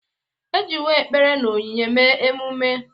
E jiwo ekpere na onyinye mee emume.